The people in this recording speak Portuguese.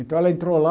Então, ela entrou lá,